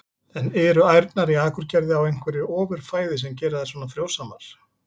En eru ærnar í Akurgerð á einhverju ofur fæði sem gerir þær svona frjósamar?